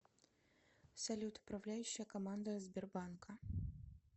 салют управляющая команда сбербанка